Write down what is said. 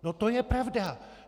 No to je pravda.